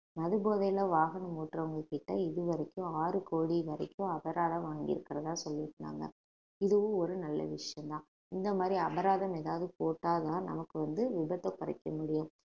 மது போதையில வாகனம் ஓட்டுறவங்ககிட்ட இதுவரைக்கும் ஆறு கோடி வரைக்கும் அபராதம் வாங்கி இருக்கிறதா சொல்லி இருந்தாங்க இதுவும் ஒரு நல்ல விஷயம்தான் இந்த மாதிரி அபராதம் ஏதாவது போட்டாதான் நமக்கு வந்து விபத்தை குறைக்க முடியும்